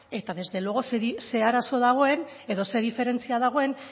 eta desde luego ze arazo dagoen edo zer diferentzia dagoen